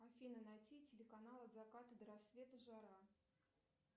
афина найти телеканал от заката до рассвета жара